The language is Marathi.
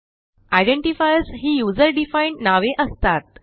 आयडेंटिफायर्स ही यूझर डिफाईन्ड नावे असतात